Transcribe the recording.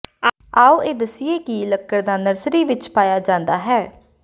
ਆਓ ਇਹ ਦੱਸੀਏ ਕਿ ਲੱਕੜ ਦਾ ਨਰਸਰੀ ਵਿਚ ਪਾਇਆ ਜਾਂਦਾ ਹੈ